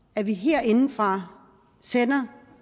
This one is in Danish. at vi herindefra sender